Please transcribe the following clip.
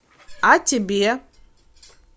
а тебе